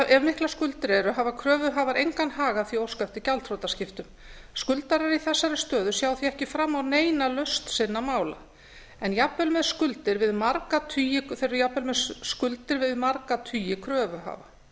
ef miklar skuldir eru hafa kröfuhafar engan hag af því að óska eftir gjaldþrotaskiptum skuldarar í þessari stöðu sjá því ekki fram á neina lausn sinna mála en jafnvel með skuldir þeir eru jafnvel með skuldir við marga tugi kröfuhafa